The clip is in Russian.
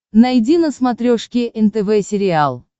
найди на смотрешке нтв сериал